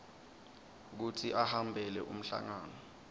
kutsi ahambele umhlangano